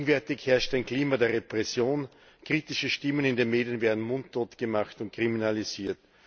Gegenwärtig herrscht ein Klima der Repression, kritische Stimmen in den Medien werden mundtot gemacht und kriminalisiert.